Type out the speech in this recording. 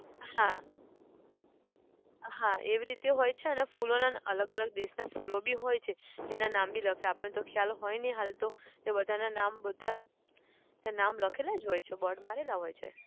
હા હા એવી રીતે હોય છે અને ફૂલોના અલગ અલગ દેશોના ફૂલો બી હોય છે. જેને નામ બી લખે આપણને ખ્યાલ તો હોય છે નહીં હાલ તો. એ બધાના નામ બધા ત્યાં નામ લખેલા જ હોય છે board મારેલા જ હોય છે.